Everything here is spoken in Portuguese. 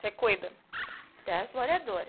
Você cuida das moradoras.